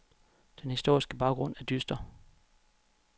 Den historiske baggrund er dyster.